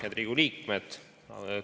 Head Riigikogu liikmed!